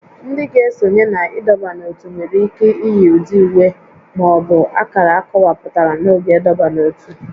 Ndị ga esonye na ịdọba n'ótú nwere ike iyi ụdị uwe ma ọ bụ akara akọwapụtara n'oge ịdọba n'ótú